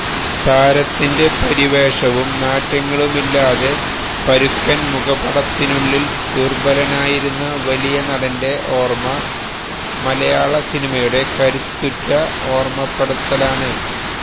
താരത്തിന്റെ പരിവേഷവും നാട്യങ്ങളുമില്ലാതെ പരുക്കന് മുഖപടത്തിനുള്ളില് ദുര്ബലനായിരുന്ന വലിയ നടന്റെ ഓര്മ്മ മലയാളസിനിമയുടെ കരുത്തുറ്റ ഓര്മ്മപ്പെടുത്തലാണ്